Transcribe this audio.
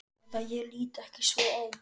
Eða ég lít ekki svo á.